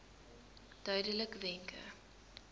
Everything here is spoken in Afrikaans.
duidelikwenke